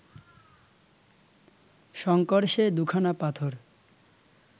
শঙ্কর সে দু’খানা পাথর